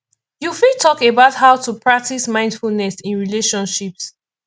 you fit talk about how to practice mindfulness in relationships